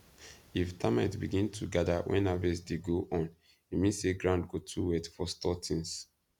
if termites begin to gather when harvest dey go on e mean say ground go too wet for store things